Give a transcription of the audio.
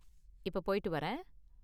இப்ப போய்ட்டு வரேன்